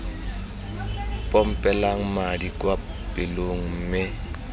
pompelang madi kwa pelong mme